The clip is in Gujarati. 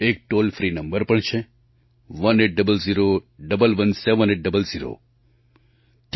એક ટૉલ ફ્રી નંબર પણ છે 1800 11 7800